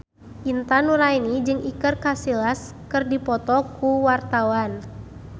Intan Nuraini jeung Iker Casillas keur dipoto ku wartawan